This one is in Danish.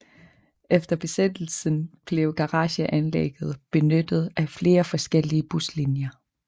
Efter Besættelsen blev garageanlægget benyttet af flere forskellige buslinjer